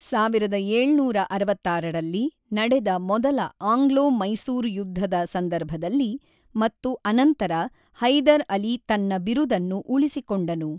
ಸಾವಿರದ ಏಳುನೂರ ಅರವತ್ತಾರರಲ್ಲಿ ನಡೆದ ಮೊದಲ ಆಂಗ್ಲೋ-ಮೈಸೂರು ಯುದ್ಧದ ಸಂದರ್ಭದಲ್ಲಿ ಮತ್ತು ಅನಂತರ ಹೈದರ್ ಅಲಿ ತನ್ನ ಬಿರುದನ್ನು ಉಳಿಸಿಕೊಂಡನು.